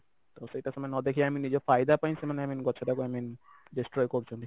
ତ ସେଇଟା ସେମାନେ ନ ଦେଖିକି i mean ନିଜ ଫାଇଦା ପାଇଁ ସେମାନେ i mean ଗଛଟାକୁ i mean destroy କରୁଛନ୍ତି